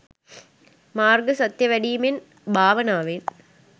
මාර්ග සත්‍ය වැඩීමෙන් භාවනාවෙන්